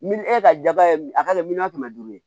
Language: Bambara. Miliyɔn e ka jaba ye a ka di miliyɔn kɛmɛ duuru ye